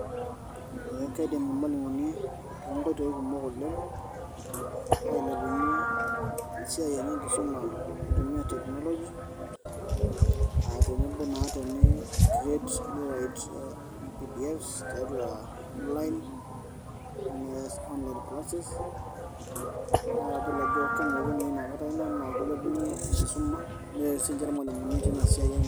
Ee keidim irmalimuni toonkoitoi kumok oleng' ailepunyie esiai enye enkisuma eitumiya tekinoloji, aa tenebo naa tenikiret neirait pdfs tiatua onlain neas onlain klases naa kadol ajo kemokunoyu tenakata Ina naa keilepunyie enkisuma neret sininche irmalimuni teina siai enye